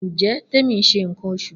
Njẹ Temi n ṣe nkan oṣu?